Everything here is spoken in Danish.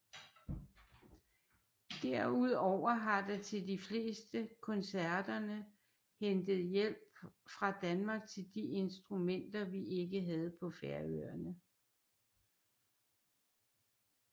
Derudover har der til de fleste koncerterne hentet hjælp fra Danmark til de instrumenter vi ikke havde på Færøerne